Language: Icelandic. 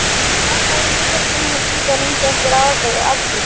bakaríinu þurfti hún að bíða lengi eftir afgreiðslu.